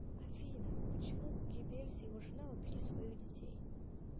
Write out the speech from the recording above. афина почему геббельс и его жена убили своих детей